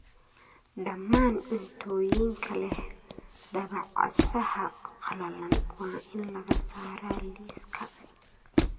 Dhammaan cuntooyinka leh dabacasaha qalalan waa in laga saaraa liiska